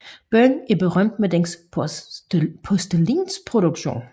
Byen er berømt med dens porcelænsproduktion